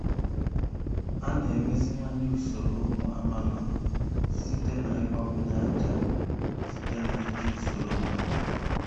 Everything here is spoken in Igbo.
a na-emeziwanye usoro ụmụ amaala site n'ịgbakwụnye ájá site na iji usoro mgbada.